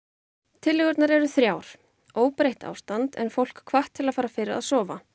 tillögurnar eru þrjár óbreytt ástand en fólk hvatt til að fara fyrr að sofa